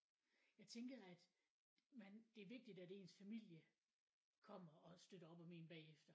Jeg tænker at man det er vigtigt at ens familie kommer og støtter op om en bagefter